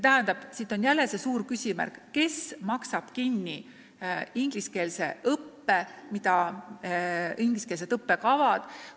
Nii on jälle suur küsimärk, kes maksab kinni ingliskeelse õppe, mida ingliskeelsed õppekavad ette näevad.